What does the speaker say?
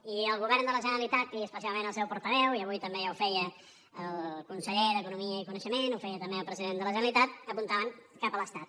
i el govern de la generalitat i especialment el seu portaveu i avui també ja ho feia el conseller d’economia i coneixement ho feia també el president de la generalitat apuntaven cap a l’estat